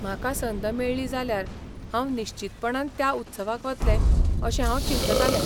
म्हाका संद मेळ्ळी जाल्यार हांव निश्चीतपणान त्या उत्सवाक वतलें. अशें हांव चिंततालें.